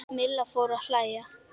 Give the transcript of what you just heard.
Milla fór að hlæja.